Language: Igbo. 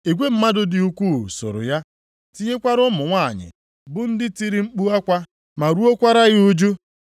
Igwe mmadụ dị ukwuu soro ya tinyekwara ụmụ nwanyị bụ ndị tiri mkpu akwa ma ruokwara ya ụjụ.